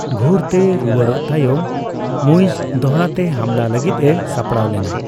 ᱜᱷᱩᱨ ᱛᱮ ᱨᱩᱣᱟᱹᱲᱚᱜ ᱛᱟᱭᱚᱢ, ᱢᱩᱭᱤᱡᱽ ᱫᱚᱦᱲᱟᱛᱮ ᱦᱟᱢᱞᱟ ᱞᱟᱹᱜᱤᱫᱼᱮ ᱥᱟᱯᱲᱟᱣ ᱞᱮᱱᱟ ᱾